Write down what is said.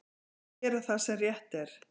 Gera það sem rétt er.